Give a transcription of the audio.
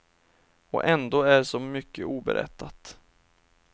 Och ändå är så mycket oberättat.